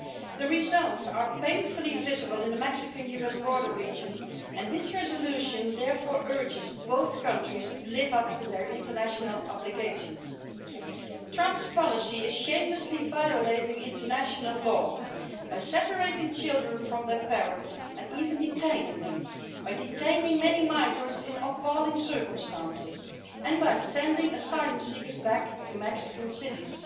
The results are painfully visible in the Mexican US border region, and this resolution therefore urges both countries to live up to their international obligations. Trump's policy is shamelessly violating international law by separating children from their parents and even detaining them, by detaining many migrants in appalling circumstances and by sending asylum seekers back to Mexican cities.